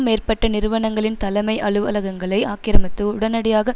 மேற்பட்ட நிறுவனங்களின் தலைமை அலுவலகங்களை ஆக்கிரமித்து உடனடியாக